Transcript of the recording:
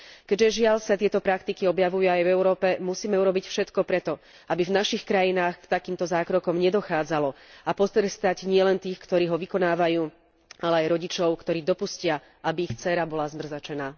Keďže, žiaľ, sa tieto praktiky objavujú aj v Európe, musíme urobiť všetko preto, aby v našich krajinách k takýmto zákrokom nedochádzalo a potrestať nielen tých, ktorý ho vykonávajú, ale aj rodičov, ktorí dopustia, aby ich dcéra bola zmrzačená.